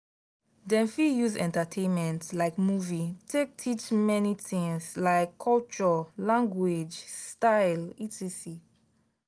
dem fit use entertainment like movie take teach many things like culture language style etc.